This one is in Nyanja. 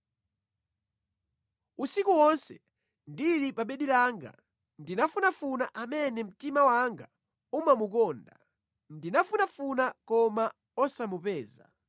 Usiku wonse ndili pa bedi langa ndinafunafuna amene mtima wanga umamukonda; ndinamufunafuna koma osamupeza.